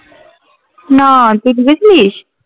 না তুই ঢুকেছিলিস?